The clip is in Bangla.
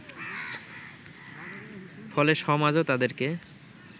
ফলে সমাজও তাদেরকে